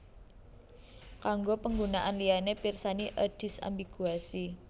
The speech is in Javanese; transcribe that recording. Kanggo panggunaan liyané pirsani A disambiguasi